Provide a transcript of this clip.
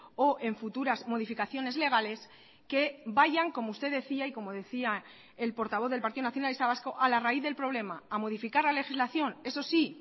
o en futuras modificaciones legales que vayan como usted decía y como decía el portavoz del partido nacionalista vasco a la raíz del problema a modificar la legislación eso sí